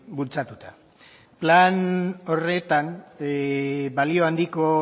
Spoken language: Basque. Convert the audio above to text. bultzatuta plan horretan balio handiko